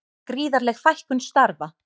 Gríðarleg fækkun starfa